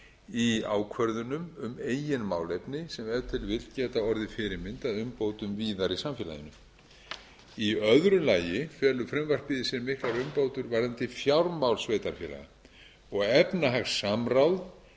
í ákvörðun um eigin málefni sem ef til vill geta orðið fyrirmynd að umbótum víðar í samfélaginu í öðru lagi felur frumvarpið í sér miklar umbætur varðandi fjármál sveitarfélaga og efnahagssamráð